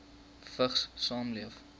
vigs saamleef